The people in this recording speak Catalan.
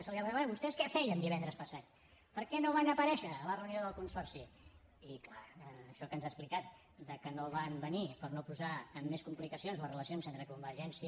se li ha preguntat bé vostès què feien divendres passat per què no van aparèixer a la reunió del consorci i clar això que ens ha explicat de que no van venir per no posar en més complicacions les relacions entre convergència